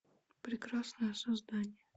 прекрасное создание